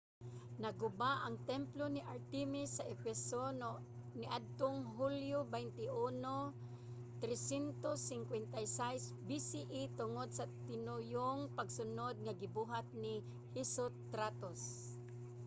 naguba ang templo ni artemis sa efeso niadtong hulyo 21 356 bce tungod sa tinuyong pagsunod nga gibuhat ni herostratus